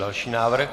Další návrh.